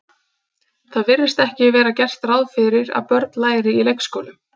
Það virðist ekki vera gert ráð fyrir að börn læri í leikskólum.